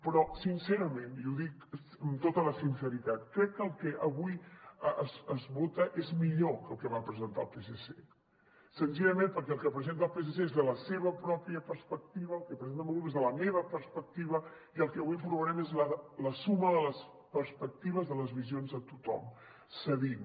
però sincerament ho dic amb tota la sinceritat crec que el que avui es vota és millor que el que va presentar el psc senzillament perquè el que presenta el psc és des de la seva pròpia perspectiva el que presenta el meu grup és des de la meva perspectiva i el que avui aprovarem és la suma de les perspectives de les visions de tothom cedint